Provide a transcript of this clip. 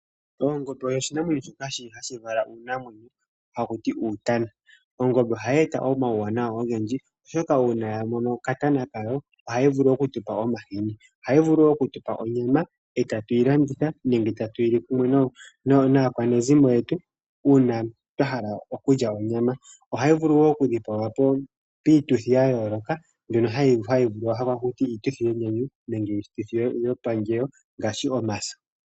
Ongombe oyo oshinamwenyo shoka hashi vala uunamwenyo haku tiwa uutana. Ongombe ohayi eta omauwanawa ogendji, oshoka ngele ya vala okatana kayo ohayi vulu oku tu pa omahini. Ohayi vulu wo oku tu pa onyama e tatu yi landitha nenge tatu yi li pamwe naakwanezimo yetu uuna twa hala okulya onyama. Ohayi vulu wo okudhipagwa piituthi ya yooloka mbyoka hayi ithanwa taku ti iituthi yenyanyu nenge yomaluhodhi ngaashi omaso.